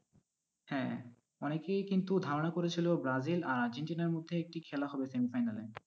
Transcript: হ্যাঁ, অনেকেই কিন্তু ধারণা করেছিলো ব্রাজিল আর আর্জেন্টিনার মধ্যে একটি খেলা হবে semi final -এ।